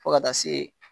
Fo ka taa se